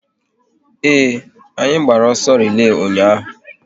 Ee, anyị gbara ọsọ relay ụnyaahụ